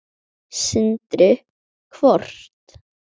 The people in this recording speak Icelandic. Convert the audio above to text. Sindri: Hvort?